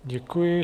Děkuji.